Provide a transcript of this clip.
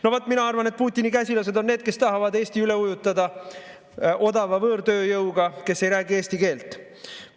No vaat, mina arvan, et Putini käsilased on need, kes tahavad Eesti üle ujutada odava võõrtööjõuga, kes ei räägi eesti keelt.